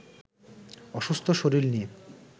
অসুস্থ শরীর নিয়ে